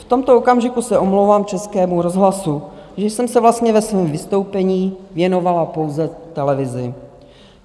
V tomto okamžiku se omlouvám Českému rozhlasu, že jsem se vlastně ve svém vystoupení věnovala pouze televizi.